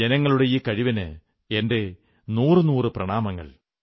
ജനങ്ങളുടെ ഈ കഴിവിന് എന്റെ നൂറു നൂറു പ്രണാമങ്ങൾ